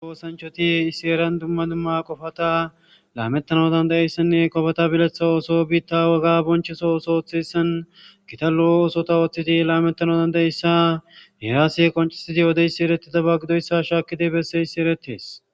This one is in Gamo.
Issi heeran dumma dumma asati diizayssa besses.